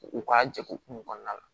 U ka jɛkulu kun kɔnɔna la